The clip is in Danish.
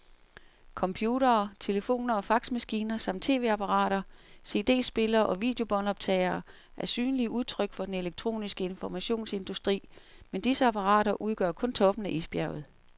Computere, telefoner og faxmaskiner samt tv-apparater, cd-spillere og videobåndoptagere er synlige udtryk for den elektroniske informationsindustri, men disse apparater udgør kun toppen af isbjerget.